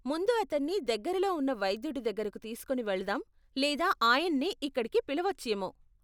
ముందు అతన్ని దగ్గరలో ఉన్న వైద్యుడి దగ్గరకు తీసుకుని వెళదాం లేదా ఆయన్నే ఇక్కడికి పిలవచ్చేమో.